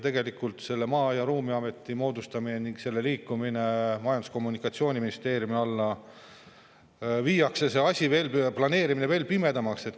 Tegelikult, Maa‑ ja Ruumiameti moodustamise ning selle liikumisega Majandus‑ ja Kommunikatsiooniministeeriumi alla see planeerimine veel pimedamaks.